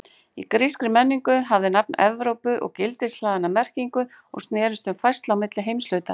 Í grískri menningu hafði nafn Evrópu gildishlaðna merkingu og snerist um færslu á milli heimshluta.